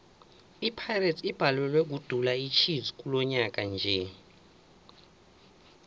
ipirates ibhalelwe kudula ichiefs kilonyaka nje